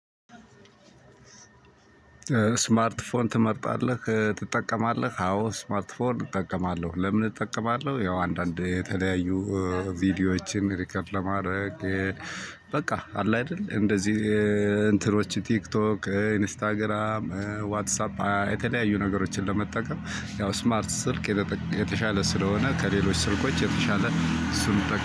ስማርት ፎን ትመርጣለህ ትጠቀማለህ? አዎ ስማርት ፎን እጠቀማለሁ ለምን እጠቀማለሁ ያው አንዳንዴ የተለያዩ ቪዲዮዎችን ሪከርድ ለማድረግ በቃ አለ አይደል እንደዚህ እንትኖች ቲክቶክ ኢንስታግራም ዋትሳፕ የተለያዩ ነገሮችን ለመጠቀም ያው ስማርት ስልክ የተሻለ ስለሆነ ከሌሎች ስልኮች የተሻለ እሱን